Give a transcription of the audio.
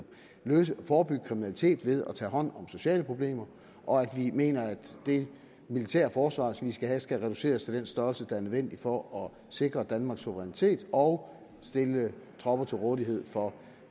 forebygge kriminalitet ved at tage hånd om sociale problemer og vi mener at det militære forsvar som vi skal have skal reduceres til en størrelse der er nødvendig for at sikre danmarks suverænitet og stille tropper til rådighed for